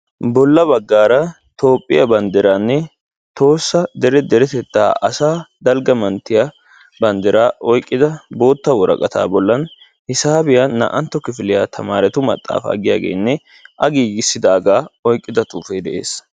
Bolla baggara toophiya banddiranne tohossa dere deretetta asaa dalgga manttiya banddira oyqqida bootta woraqata bollan hisaabiya naa"antta kifiliya tamaretu maxaafa giyaagenne a giigissidaga oyqqida xuufe de'ees.